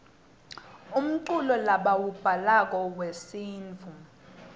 umculo lebauwablako yuesintfu